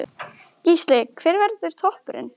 Gísli: Hver verður toppurinn?